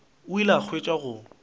o ile a hwetša go